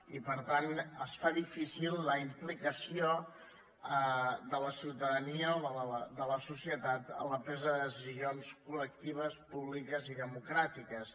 i per tant es fa difícil la implicació de la ciutadania o de la societat en la presa de decisions col·i democràtiques